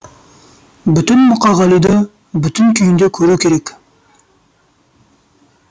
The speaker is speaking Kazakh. бүтін мұқағалиды бүтін күйінде көру керек